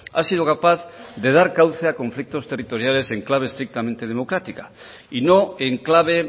ha sido capaz de dar cauce a conflictos territoriales en clave estrictamente democrática y no en clave